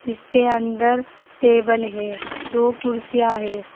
इसके अंदर टेबल है दो कुर्सियां है।